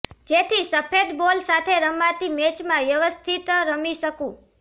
જેથી સફેદ બોલ સાથે રમાતી મેચમાં વ્યવસ્થિત રમી શકું